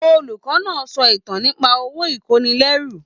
Olùkọ náà sọ ìtàn nípa òwò ikonilérú.